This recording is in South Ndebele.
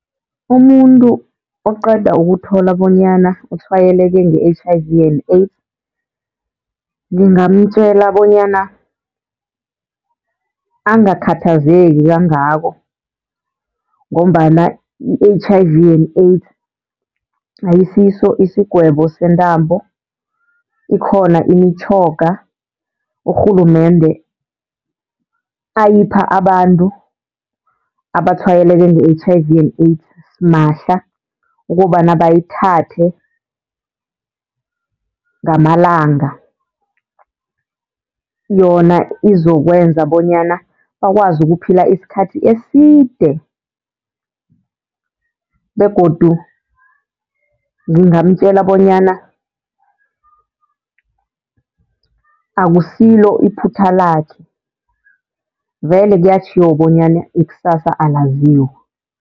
Umuntu oqeda ukuthola bonyana utshwayeleke nge-H_I_V and AIDS ngingamtjela bonyana angakhathazeki kangako. Ngombana i-H_I_V and AIDS ayisiso isigwebo sentambo, ikhona imitjhoga urhulumende ayipha abantu abatshwayeleke nge-H_I_V and AIDS simahla ukobana bayithathe ngamalanga. Yona izokwenza bonyana bakwazi ukuphila isikhathi eside begodu ngingamtjela bonyana akusilo iphutha lakhe, vele kuyatjhiwo bonyana ikusasa alaziwa.